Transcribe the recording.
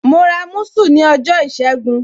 Mo ra musu ní ọjọ́ ìṣẹ́gun.